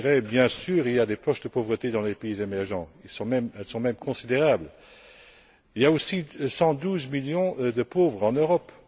Bien sûr, il y a des poches de pauvreté dans les pays émergents elles sont même considérables. Il y a aussi 112 millions de pauvres en Europe.